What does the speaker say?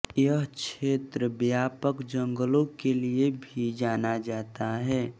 यह क्षेत्र व्यापक जंगलों के लिए भी जाना जाता है